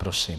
Prosím.